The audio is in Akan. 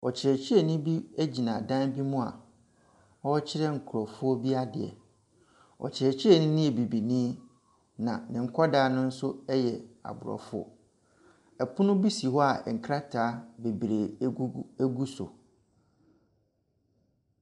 Ɔkyerɛkyerɛni bi gyina dan bi mu a ɔrekyerɛ nkrɔfoɔ bi adeɛ. Ɔkyerɛkyerɛni no yɛ bibini. Na ne nkwadaano nso yɛ Aborɔfo. Ɛpono bi si hɔ a nkrataa bebree egugu egu so.